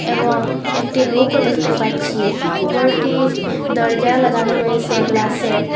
এবং একটি লোকও দেখতে পাচ্ছি ঘরটির দরজা লাগানো রয়েসে গ্লাসের।